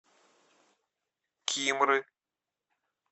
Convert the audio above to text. кимры